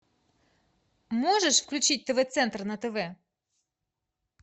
можешь включить тв центр на тв